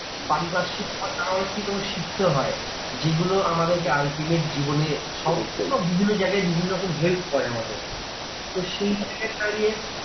পারিপার্শ্বিক তোমাকে অনেককিছু শিখতে হয়। যেগুলো আমাদেরকে ultimate জীবনে সবই তো বিভন্ন জায়গায় বিভিন্ন রকম help হয় আমাদের। তো সেই দাঁড়িয়ে